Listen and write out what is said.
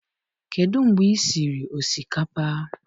Kedụ mgbe i siri osikapa?